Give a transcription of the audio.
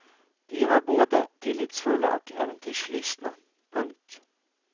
De var både tillitsfulla och äventyrslystna. punkt